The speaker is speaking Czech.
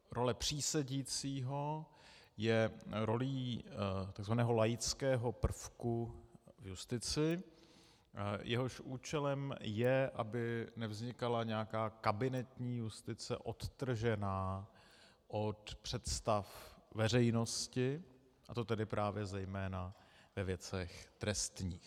Role přísedícího je rolí tzv. laického prvku v justici, jehož účelem je, aby nevznikala nějaká kabinetní justice odtržená od představ veřejnosti, a to tedy právě zejména ve věcech trestních.